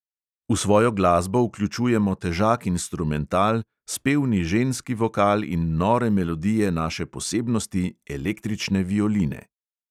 V svojo glasbo vključujemo težak instrumental, spevni ženski vokal in nore melodije naše posebnosti, električne violine.